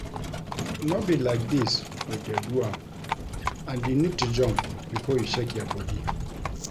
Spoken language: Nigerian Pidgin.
No be like dis we dey do am and you need to jump before you shake your body